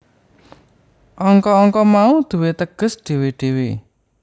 Angka angka mau duwé teges dhewe dhewe